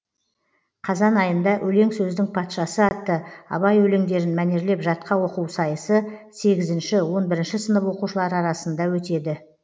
қазан айында өлең сөздің патшасы атты абай өлеңдерін мәнерлеп жатқа оқу сайысы сегізінші он бірінші сынып оқушылары арасында өтеді